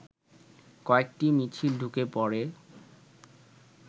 কয়েকটি মিছিল ঢুকে পড়ে